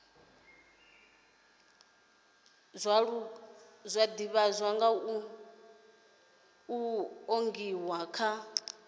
nga zwiṱuku nga zwiṱuku kha